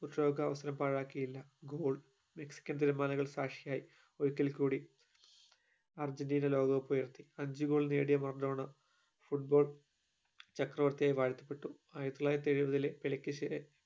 പ്യൂഷോകാവസ്ഥ പാഴാകീല goal Mexican തിരമാലകൾ സാക്ഷിയായി ഒരിക്കൽ കൂടി അർജന്റീന ലോക cup ഉയർത്തി അഞ്ജു goal നേടിയ മറഡോണ football ചക്രവർത്തിയായി വാഴ്ത്തപ്പെട്ടു ആയിരത്തിത്തൊള്ളായിരത്തി എഴുപതിലെ